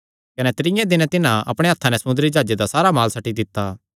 कने त्रीयें दिने तिन्हां अपणेयां हत्थां नैं समुंदरी जाह्जे दा सारा माल सट्टी दित्ता